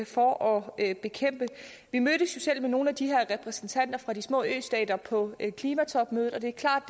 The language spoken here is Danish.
for at bekæmpe vi mødtes jo selv med nogle af de her repræsentanter for de små østater på klimatopmødet og det er klart